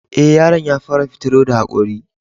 E, yaron ya fara fitaro da haƙori.